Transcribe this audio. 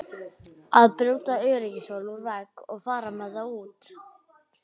Að brjóta öryggishólf úr vegg og fara með það út!